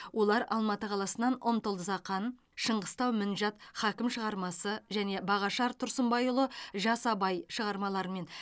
олар алматы қаласынан умтыл зақан шыңғыстау мінжат хакім шығармасы және бағашар тұрсынбайұлы жас абай шығармаларымен